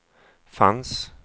fanns